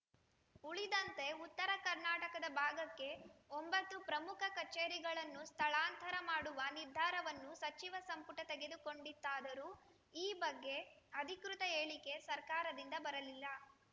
ಉಳಿದಂತೆ ಉತ್ತರ ಕರ್ನಾಟಕದ ಭಾಗಕ್ಕೆ ಒಂಬತ್ತು ಪ್ರಮುಖ ಕಚೇರಿಗಳನ್ನು ಸ್ಥಳಾಂತರ ಮಾಡುವ ನಿರ್ಧಾರವನ್ನು ಸಚಿವ ಸಂಪುಟ ತೆಗೆದುಕೊಂಡಿತಾದರೂ ಈ ಬಗ್ಗೆ ಅಧಿಕೃತ ಹೇಳಿಕೆ ಸರ್ಕಾರದಿಂದ ಬರಲಿಲ್ಲ